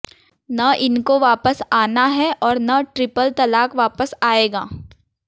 न इनको वापस आना है और न ट्रिपल तलाक वापस आएगा